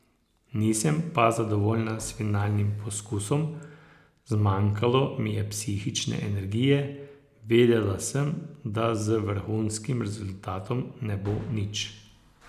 Nisem pa zadovoljna s finalnim poskusom, zmanjkalo mi je psihične energije, vedela sem, da z vrhunskim rezultatom ne bo nič.